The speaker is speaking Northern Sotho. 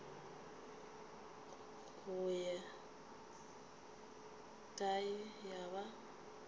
go ye kae ya ba